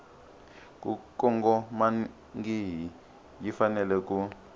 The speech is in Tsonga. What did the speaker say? ku kongomangihi yi fanele ku